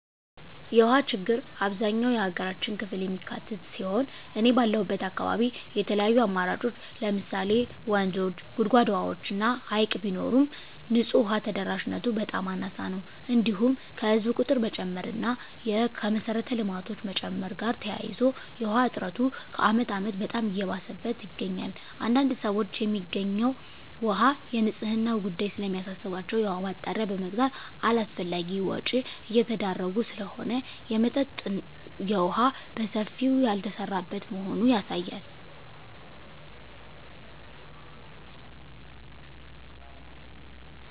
የውሃ ችግር አብዛኛው የሀገራችን ክፍል የሚካትት ሲሆን እኔ ባለሁበት አካባቢ የተለያዩ አማራጮች ለምሳሌ ወንዞች; ጉድጓድ ውሃዎች እና ሀይቅ ቢኖርም ንፁህ ውሃ ተደራሽነቱ በጣም አናሳ ነው። እንዲሁም ከህዝብ ቁጥር መጨመር እና ከመሰረተ ልማቶች መጨመር ጋር ተያይዞ የውሃ እጥረቱ ከአመት አመት በጣም እየባሰበት ይገኛል። አንዳንድ ሰዎች የሚገኘው ውሃ የንፅህናው ጉዳይ ስለሚያሳስባቸው የውሃ ማጣሪያ በመግዛት አላስፈላጊ ወጭ እየተዳረጉ ስለሆነ የመጠጠጥ የውሃ በሰፊው ያልተሰራበት መሆኑ ያሳያል።